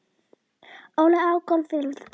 Ólína á golfvellinum.